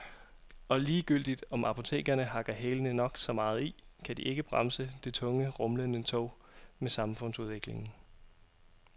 Og ligegyldigt om apotekerne hakker hælene nok så meget i, kan de ikke bremse det tunge, rumlende tog med samfundsudviklingen.